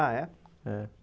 Ah, é? É